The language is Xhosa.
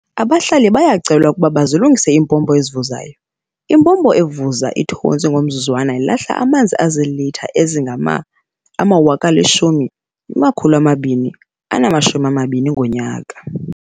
Abahlali bayacelwa ukuba bazilungise iimpompo ezivuzayo. Impompo evuza ithontsi ngomzuzwana ilahla amanzi azilitha ezingama-10 220 ngonyaka.